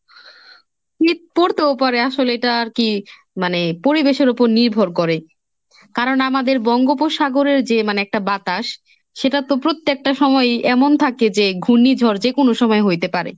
শীত পড়তেও পারে আসলে এটা আর কি মানে পরিবেশের উপর নির্ভর করে, কারণ আমাদের বঙ্গোপসাগরের যে মানে একটা বাতাস সেটা তো প্রত্যেকটা সময়ই এমন থাকে যে ঘূর্ণিঝড় যেকোনো সময় হইতে পারে।